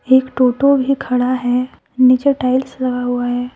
एक टोटो भी खड़ा है नीचे टाइल्स लगा हुआ है।